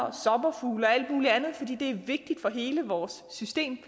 og sommerfugle og alt muligt andet fordi det er vigtigt for hele vores system